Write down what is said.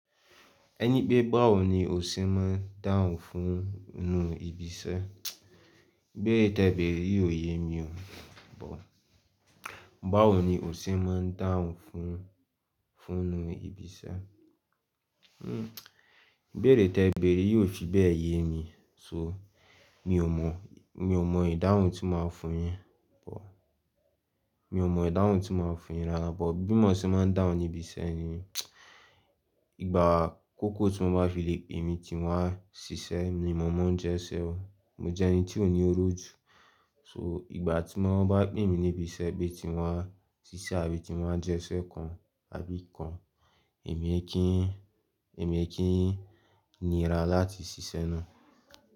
Ẹni pé báwo ni o ṣe máa ń dáhùn fún inú ibi iṣẹ́? Ìbéèrè tẹ béèrẹ̀ yi ò yé mi o, but báwo ni o ṣe máa ń dáhùn fún, fún inú ibi iṣẹ́? Ìbéèrè tẹ béèrẹ̀ yi ò fi bẹ́ yé mi. So mi ò mọ̀, mi ò mọ̀ ìdáhùn tí máa ń fún yín, mi ò mọ̀ ìdáhùn tí máa ń fún yín rárá. But bí mo ṣe máa ń dáhùn ní ibi iṣẹ́ ni ìgbà akóko tí wọ́n máa á fi le pè mí tí wọ́n á ṣiṣẹ́ ni mo mọ̀ ọ́n jẹ́ iṣẹ́ o. Mo jẹ́ ẹni tí ò ní oró ju. So ìgbà tí wọ́n bá pè mí ní ibi iṣẹ́ pé tí wọ́n á ṣiṣẹ́ àbí tí wọ́n á jẹ iṣẹ́ kan àbí kan èmi ẹ kín, èmi ẹ kín nira láti ṣiṣẹ́ náà.